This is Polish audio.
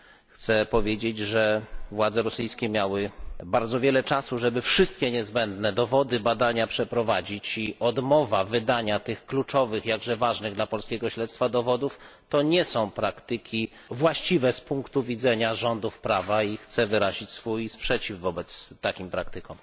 Chcę powiedzieć, że władze rosyjskie miały bardzo wiele czasu, żeby przeprowadzić badanie wszystkich niezbędnych dowodów, i że odmowa wydania tych kluczowych, jakże ważnych dla polskiego śledztwa dowodów to nie są praktyki właściwe z punku widzenia rządów prawa, i chcę wyrazić swój sprzeciw wobec takich praktyk.